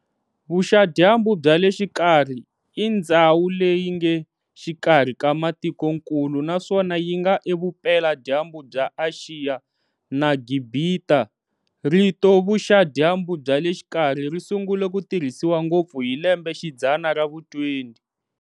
Vuxa-dyambu bya le xikarhi i ndzhawu leyi ngexikarhi ka matikonkulu naswona yinga evupela dyambu bya Axiya na Gibhita. Rito Vuxa-dyambu bya le xikarhi, risungule ku tirhisiwa ngopfu hi lembe xidzana ra vu 20.